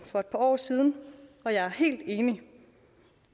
for et par år siden og jeg er helt enig